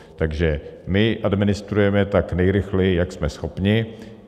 Takže my administrujeme tak, nejrychleji, jak jsme schopni.